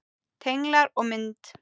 Tenglar og mynd